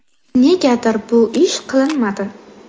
Negadir bu ish qilinmadi?